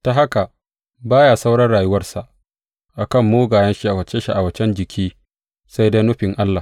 Ta haka, ba ya sauran rayuwarsa a kan mugayen sha’awace sha’awacen jiki, sai dai nufin Allah.